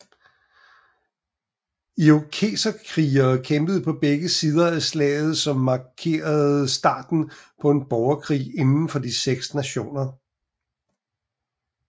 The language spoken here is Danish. Irokeserkrigere kæmpede på begge sider af slaget som markerede starten på en borgerkrig indenfor de seks nationer